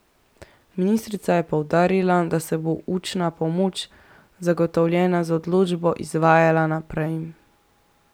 Ministrica je poudarila, da se bo učna pomoč, zagotovljena z odločbo, izvajala naprej.